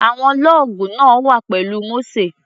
Àwọn lọ́ọ̀gù náà wà pẹ̀lú Mósè.